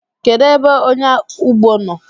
Kedụ ebe ọnyáụgbọ nọ?